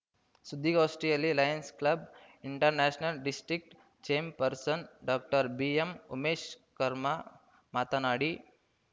ಸುದ್ದಿಗೋಷ್ಠಿಯಲ್ಲಿ Lions Club International district chairperson doctor ಬಿಎಂಉಮೇಶ್‌ಕರ್ಮಾ ಮಾತನಾಡಿ